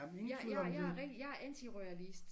Jeg jeg jeg rigtig jeg antiroyalist